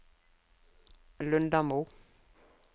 Lundamo